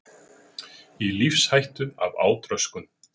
Í lífshættu af átröskun